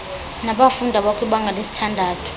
nabafundi abakwibanga lesithandathu